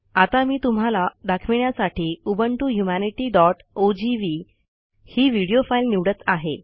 आता मी तुम्हाला दाखविण्यासाठी उबंटू ह्यूमॅनिटी डॉट ओजीव्ही ही व्हिडिओ फाईल निवडत आहे